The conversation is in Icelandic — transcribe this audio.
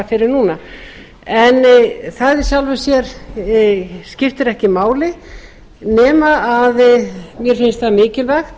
en núna en það í sjálfu sér skiptir ekki máli nema mér finnst það mikilvægt